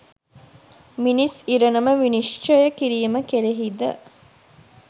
මිනිස් ඉරණම විනිශ්චය කිරීම කෙරෙහි ද